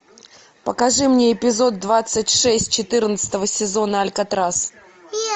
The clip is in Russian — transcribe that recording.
покажи мне эпизод двадцать шесть четырнадцатого сезона алькатрас